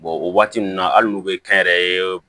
o waati ninnu na hali n'u bɛ kɛnyɛrɛye